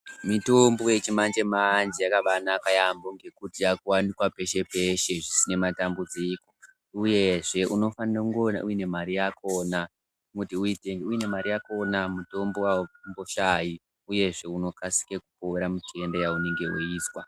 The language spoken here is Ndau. Mitombo yechimanje manje yakabanaka yambo ngekuti yakuwanukwa peshe peshe zvisina matambudziko uyezve unofana kunge une mare yakona ngekuti une mare yakona mitombo aumboshayi uyezve unokasira kupona mitenda yaunenge uchizwa.